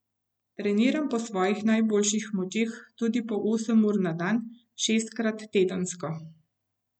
Treniram po svojih najboljših močeh, tudi po osem ur na dan, šestkrat tedensko.